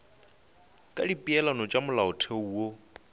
ka dipeelano tša molaotheo wo